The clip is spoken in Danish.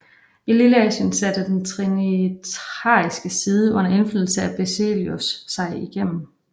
I Lilleasien satte den trinitariske side under indflydelse af Basileios sig igennem